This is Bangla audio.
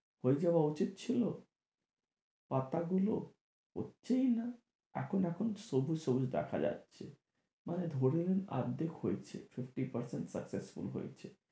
হয়ে যাওয়া উচিত ছিল পাতা গুলো হচ্ছে ই না এখন এখন সবুজ সবুজ দেখা যাচ্ছে মানে ধরুন আর্ধেক হয়েছে fifty percent successful হয়েছে